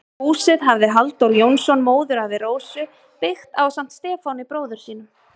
Húsið hafði Halldór Jónsson, móðurafi Rósu, byggt ásamt Stefáni, bróður sínum.